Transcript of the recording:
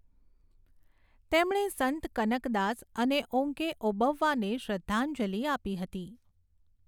તેમણે સંત કનક દાસ અને ઓંકે ઓબવ્વાને શ્રદ્ધાંજલિ આપી હતી.